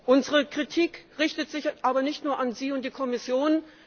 Unsere Kritik richtet sich aber nicht nur an Sie und die Kommission.